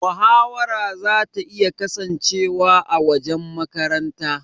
Mahawara zata iya kasancewa a wajen makaranta.